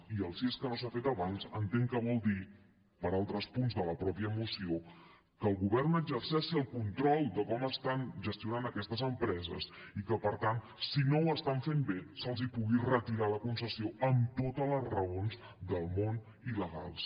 i el si és que no s’ha fet abans entenc que vol dir per altres punts de la mateixa moció que el govern exerceixi el control de com estan gestionant aquestes empreses i que per tant si no ho estan fent bé se’ls pugui retirar la concessió amb totes les raons del món i legals